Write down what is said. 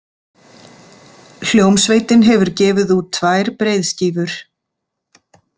Hljómsveitin hefur gefið út tvær breiðskífur.